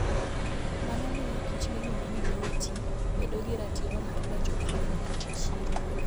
Mano miyo kich miluongo ni doti bedo gi ratiro mar donjo e kend gi chi ruoth.